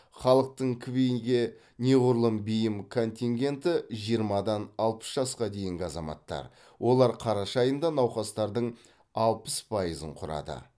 халықтың кви ге неғұрлым бейім контингенті жиырмадан алпыс жасқа дейінгі азаматтар олар қараша айында науқастардың алпыс пайызын құрады